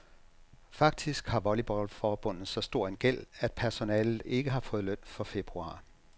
Faktisk har volleyballforbundet så stor en gæld, at personalet ikke har fået løn for februar.